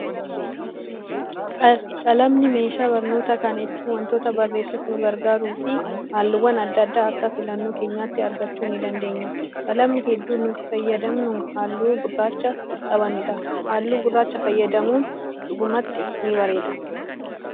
Qalamni meeshaa barnootaa kan ittiin wantoota barreessuuf nu gargaaruu fi halluuwwan adda addaa akka filannoo keenyaatti argachuu ni dandeenya. Qalamni hedduun nuti fayyadamnu halluu gurraacha qabanidha. Halluu gurraacha fayyadamuun dhugumatti ni bareeda.